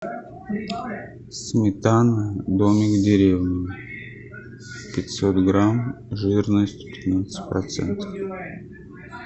сметана домик в деревне пятьсот грамм жирность пятнадцать процентов